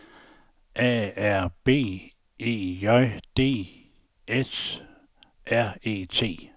A R B E J D S R E T